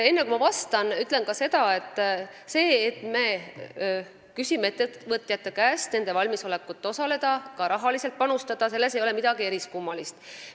Enne kui ma vastan, ütlen ka seda, et selles, kui me küsime ettevõtjate käest nende valmisolekut osaleda ja ise rahaliselt panustada, ei ole midagi eriskummalist.